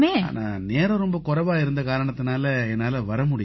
ஆனா நேரம் ரொம்ப குறைவா இருந்த காரணத்தால என்னால வர முடியலை